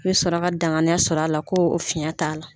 I bɛ sɔrɔ ka o danganiya sɔrɔ a la ko fiyɛn t'a la.